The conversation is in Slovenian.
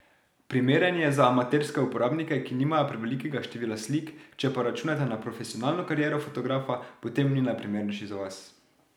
Primeren je za amaterske uporabnike, ki nimajo prevelikega števila slik, če pa računate na profesionalno kariero fotografa, potem ni najprimernejši za vas.